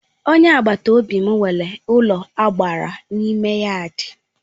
Onye agbata obi m nwere ụlọagbara n'ime yaadi.